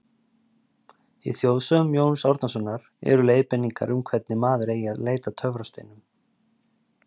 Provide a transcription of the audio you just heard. Í þjóðsögum Jóns Árnasonar eru leiðbeiningar um hvernig maður eigi að leita að töfrasteinum.